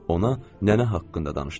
Ona nənə haqqında danışdım.